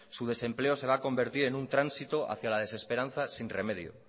su desempleo se va a convertir en un tránsito hacia la desesperanza sin remedio